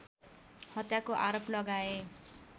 हत्याको आरोप लगाए